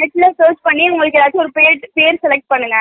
net ல search பண்ணி உங்களுக்கு எதாச்சும் பெர் select பண்ணுங்க